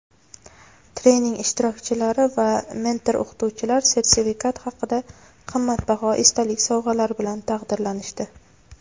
trening ishtirokchilari va mentor-o‘qituvchilar sertifikat hamda qimmatbaho esdalik sovg‘alari bilan taqdirlanishdi.